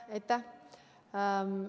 Aitäh!